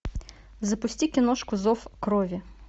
запусти киношку зов крови